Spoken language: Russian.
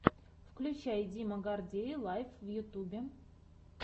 включай дима гордей лайв в ютьюбе